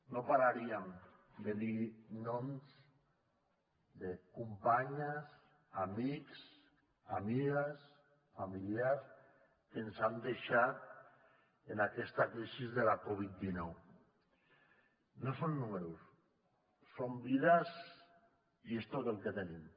no pararíem de dir noms de companyes amics amigues familiars que ens han deixat en aquesta crisi de la covid dinou no són números són vides i és tot el que tenim